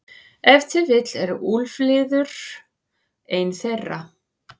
Ef til vill er úlfliður ein þeirra.